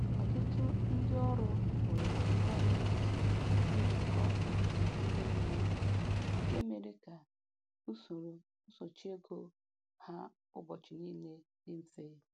Ọtụtụ ndị ọrụ hụrụ ngwa mint njikọ nke ime mmụọ nke mere ka usoro nsochị ego ha ụbọchị niile dị mfe.